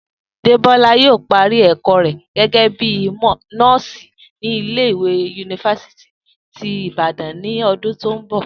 Débó̩lá yóò parí è̩kó̩ rè̩ gé̩gé̩ bíi nó̩ò̩sì ní ilé ìwé yunifásítì tí Ìbàdàn ní o̩dún tó ń bò